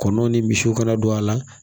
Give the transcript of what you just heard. Kɔnɔw ni misiw kana don a la